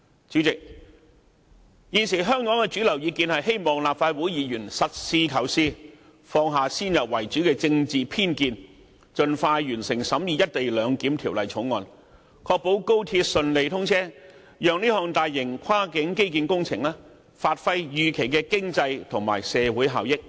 主席，香港現時的主流意見是希望立法會議員實事求是，放下先入為主的政治偏見，盡快完成審議《條例草案》，確保高鐵順利通車，讓這項大型跨境基建工程發揮預期的經濟和社會效益。